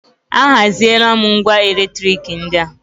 A haziela m ngwá elektrik ndị a.